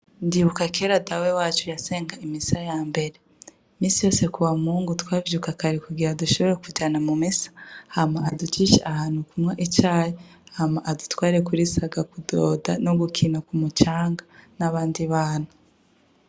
Ndibuka kera dawe wacu yasenga imisara ya mbere misi yose ku ba muhungu twavyeukakari kugira adushobora kujana mu mesa hama aducisha ahantu kumwa icahe hama adutware kuri saga kudoda no gukina ku mucanga n'abandi bana.